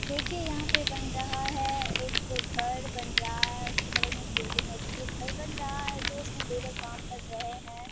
देखिये यहाँ पे बन रहा है एक घर बन रहा है उसके बगल में एक बिल्डिंग है जो ये घर बन रहा है जो उसमे लेबर काम कर रहे है।